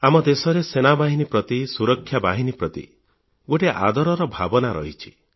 ଆମ ଦେଶରେ ସେନାବାହିନୀ ପ୍ରତି ସୁରକ୍ଷା ବାହିନୀ ପ୍ରତି ଗୋଟିଏ ଆଦରର ଭାବନା ରହିଛି